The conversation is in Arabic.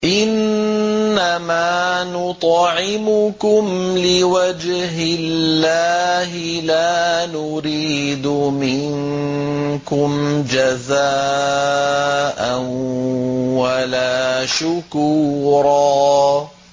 إِنَّمَا نُطْعِمُكُمْ لِوَجْهِ اللَّهِ لَا نُرِيدُ مِنكُمْ جَزَاءً وَلَا شُكُورًا